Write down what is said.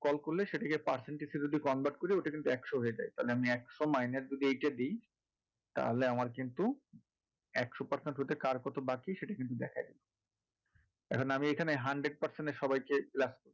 call করলে সেটাকে percentage হিসাবে যদি convert করি ওটা কিন্তু একশো হয়ে যায় তাহলে আমি একশো minus যদি এটা দিই তাহলে আমার কিন্তু একশো percent হতে কার কত বাকি সেটা কিন্তু দেখিয়ে দেবে এখন আমি এখানে hundred percent এ সবাই কে রাখবো